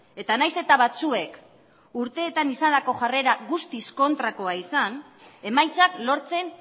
eta nahiz eta batzuek urteetan izandako jarrera guztiz kontrakoa izan emaitzak lortzen